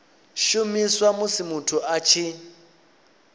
shumiswa musi muthu a tshi